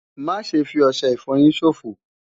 Má ṣe fi ọṣẹ ìfọyín ṣòfò!